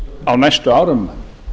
á næstu árum